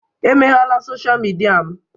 Emeghela sọsha mịdia m.